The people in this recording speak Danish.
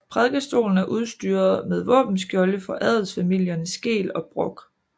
Prædikestolen er udstyret med våbenskjolde for adelsfamilierne Skeel og Brock